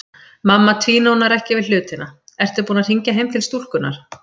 Mamma tvínónar ekki við hlutina: Ertu búin að hringja heim til stúlkunnar?